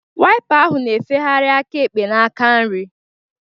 Waipa ahụ na-efegharị aka ekpe na aka nri